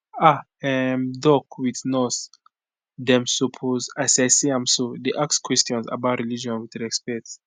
ah um doc with nurse dem suppose as i see am so dey ask questions about religion with respect